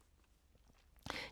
DR K